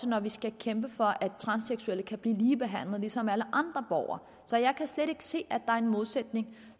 når vi skal kæmpe for at transseksuelle kan blive ligebehandlet som alle andre borgere så jeg kan slet ikke se at er en modsætning